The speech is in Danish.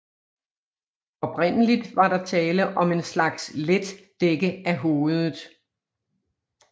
Oprindeligt var der tale om en slags let dække af hovedet